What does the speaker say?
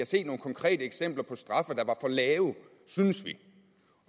set nogle konkrete eksempler på straffe der var for lave synes vi